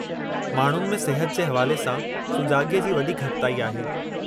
माण्हुनि में सिहत जे हवाले सां सुजाॻीअ जी वॾी घटिताई आहे।